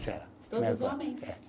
Todos homens? É